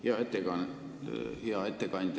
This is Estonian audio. Hea ettekandja!